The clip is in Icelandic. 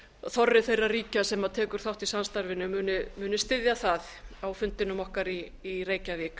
þorri þegar ríkja sem tekur þátt í samstarfinu muni styðja það á fundinum okkar í reykjavík